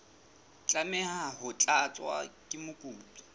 tlameha ho tlatswa ke mokopi